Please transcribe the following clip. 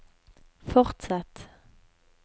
fortsett